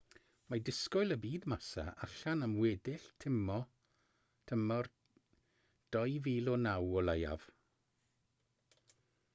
mae disgwyl y bydd massa allan am weddill tymor 2009 o leiaf